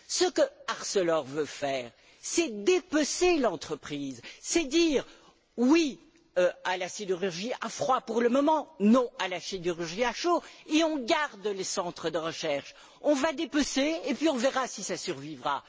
Ce qu'Arcelor veut faire, c'est dépecer l'entreprise, c'est dire oui à la sidérurgie à froid, pour le moment, et non à la sidérurgie à chaud, tout en gardant les centres de recherche. On va dépecer, et puis on verra si ça survivra.